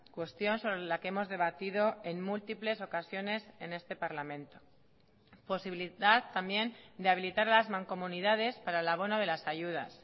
cuestión sobre la que hemos debatido en múltiples ocasiones en este parlamento posibilidad también de habilitar las mancomunidades para el abono de las ayudas